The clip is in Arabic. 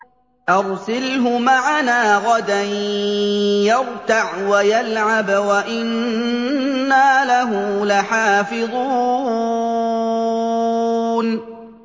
أَرْسِلْهُ مَعَنَا غَدًا يَرْتَعْ وَيَلْعَبْ وَإِنَّا لَهُ لَحَافِظُونَ